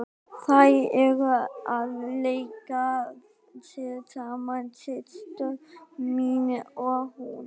Þær eru að leika sér saman, systir mín og hún.